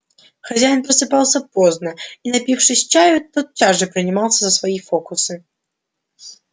хозяин просыпался поздно и напившись чаю тотчас же принимался за свои фокусы